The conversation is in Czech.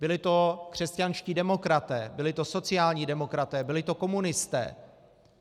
Byli to křesťanští demokraté, byli to sociální demokraté, byli to komunisté.